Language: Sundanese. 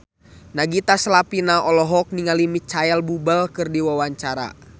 Nagita Slavina olohok ningali Micheal Bubble keur diwawancara